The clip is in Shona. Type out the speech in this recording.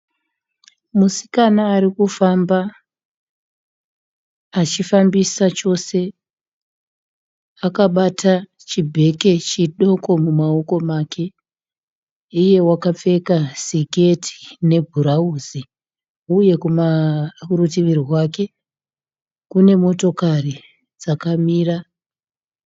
Musikana arikufamba, achifambisa chose. Akabata chibheke chidoko mumaoko make, iye wakapfeka siketi nebhurauzi uye kurutivi rwake kune motokari dzakamira